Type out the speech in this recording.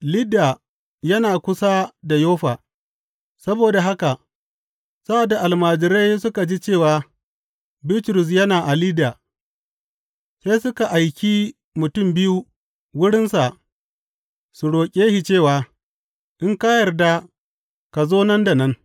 Lidda yana kusa da Yoffa; saboda haka sa’ad da almajirai suka ji cewa Bitrus yana a Lidda, sai suka aiki mutum biyu wurinsa su roƙe shi cewa, In ka yarda ka zo nan da nan!